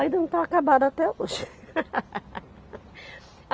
Ainda não está acabada até hoje.